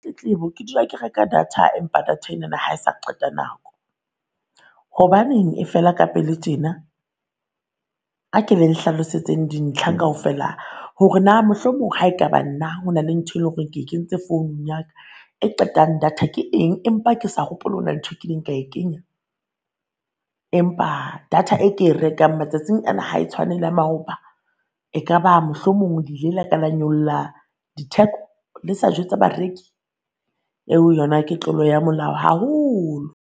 Tletlebo, ke dula ke reka data empa data enana ha e sa qeta nako, hobaneng e feela ka pele tjena? A ke le nhlalosetseng dintlha kaofela hore naa mohlomong ha ekaba nna ho na le ntho e lo reng ke kentse founung ya ka e qetang data ke eng, empa ke sa hopole hona ntho e kileng ka e kenya? Empa data e ke e rekang matsatsing ana ha e tshwane le ya maoba. E ka ba mohlomong le ile la ka la nyolla diteko le sa jwetsa bareki? Eo yona ke tlolo ya molao haholo.